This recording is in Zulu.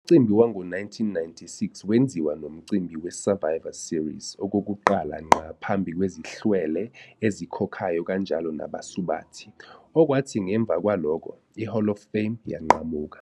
Umcimbi wango-1996 wenziwa nomcimbi we- Survivor Series, okokuqala ngqa phambi kwezihlwele ezikhokhayo kanjalo nabasubathi, okwathi ngemva kwalokho, i-Hall of Fame yanqamuka.